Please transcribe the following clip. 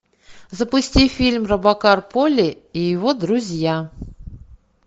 запусти фильм робокар поли и его друзья